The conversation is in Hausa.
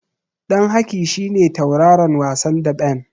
Ɗan Haki shi ne tauraron wasan daɓen.